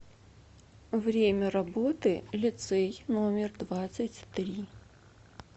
время работы лицей номер двадцать три